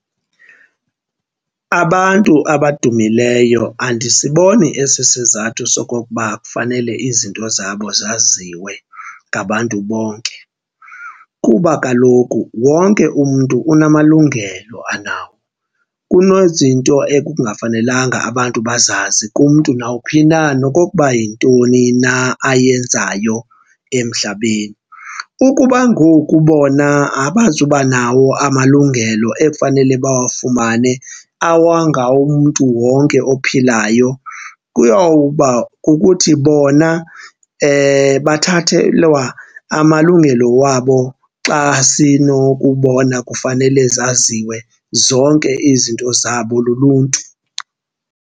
Abantu abadumileyo andisiboni esi sizathu sokokuba kufanele izinto zabo zaziwe ngabantu bonke kuba kaloku wonke umntu unamalungelo anawo. Kunezinto ekungafanelanga abantu bazazi kumntu nawuphi na nokokuba yintoni na ayenzayo emhlabeni. Ukuba ngoku bona abazuba nawo amalungelo ekufanele bawafumane awangawomntu wonke ophilayo, kuyawuba kukuthi bona bathathelwa amalungelo wabo xa sinokubona kufanele zaziwe zonke izinto zabo luluntu.